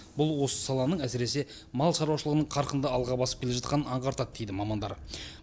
бұл осы саланың әсіресе мал шаруашылығының қарқынды алға басып келе жатқанын аңғартады дейді мамандар